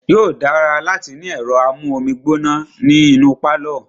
Yóò dára láti ní ẹ̀rọ amú omi gbóná ní inú pálọ̀.